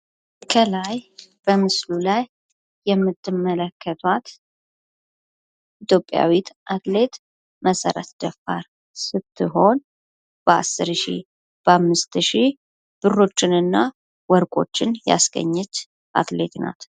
ከላይ ከምስሉ ላይ የምትመለከቷት ኢትዮጵያዊት አትሌት መሰረት ደፋር ስትሆን በአስር ሽህ፣ በአምስት ሽህ ብሮችን እና ወርቆችን ያስገኘች አትሌት ናት።